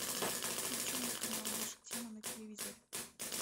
включи мне канал наша тема на телевизоре